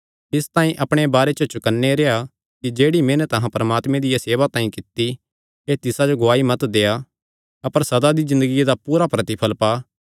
इसतांई अपणे बारे च चौकन्ने रेह्आ कि जेह्ड़ी मेहनत अहां परमात्मे दिया सेवा तांई कित्ती ऐ तिसा जो तुहां गुआई मत देआ अपर सदा दी ज़िन्दगिया दा पूरा प्रतिफल़ पा